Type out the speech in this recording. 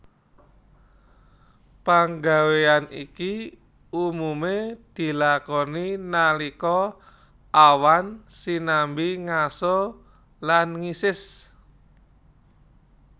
Panggawéyan iki umumé dilakoni nalika awan sinambi ngaso lan ngisis